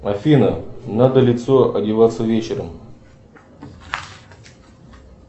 афина надо лицо одеваться вечером